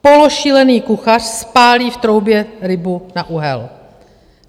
Pološílený kuchař spálí v troubě rybu na uhel.